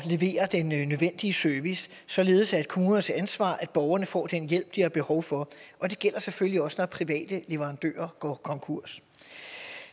levere den nødvendige service således at kommunernes ansvar at borgerne får den hjælp de har behov for det gælder selvfølgelig også når private leverandører går konkurs